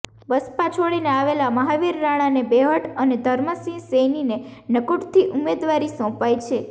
બસપા છોડીને આવેલા મહાવીર રાણાને બેહટ અને ધર્મસિંહ સૈનીને નકુટથી ઉમેદવારી સોંપાઈ છે